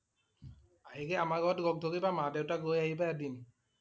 আহি কে আমাৰ ঘৰত লগ ধৰিবা মা দেউতাক লৈ আহিবা এদিন।